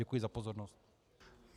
Děkuji za pozornost.